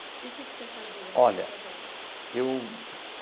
E o que que você fazia. Olha. Nessas horas?